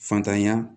Fatanya